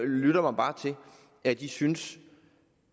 lytter mig bare til at de synes